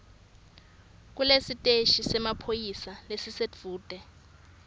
kulesiteshi semaphoyisa lesisedvute